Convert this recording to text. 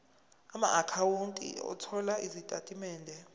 amaakhawunti othola izitatimende